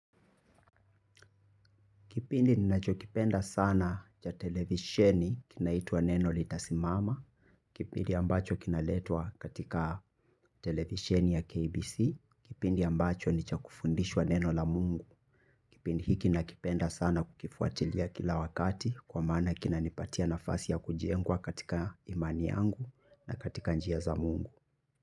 Kipindi ninachokipenda sana cha televisheni kinaitwa Neno Litasimama. Kipindi ambacho kinaletwa katika televisheni ya KBC. Kipindi ambacho ni cha kufundishwa neno la mungu. Kipindi hiki nakipenda sana kukifuatilia kila wakati kwa maana kinanipatia nafasi ya kujengwa katika imani yangu na katika njia za mungu.